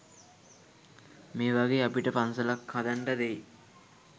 මේවගේ අපිට පන්සලක් හදන්ඩ දෙයි